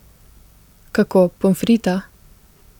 Kako, pomfrita?